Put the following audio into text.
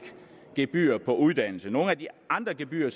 gebyrer på uddannelse med nogle af de andre gebyrer